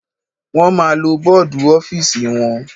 Wọ́n ma lo bọ́dù ọ́fìsì wọn.